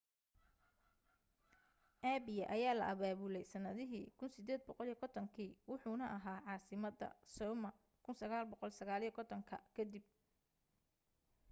apia ayaa la abaabulay sanadihi 1850 kii wuxuuna ahaa caasimadda samoa 1959 ka dib